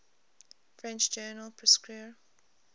french journal prescrire